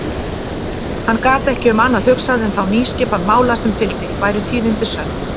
Hann gat ekki um annað hugsað en þá nýskipan mála sem fylgdi, væru tíðindin sönn.